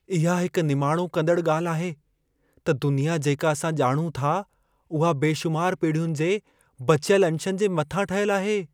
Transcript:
इहा हिकु निमाणो कंदड़ ॻाल्हि आहे त दुनिया जेका असां ॼाणूं था उहा बेशुमार पीढ़ियुनि जे बचियल अंशनि जे मथां ठहियल आहे।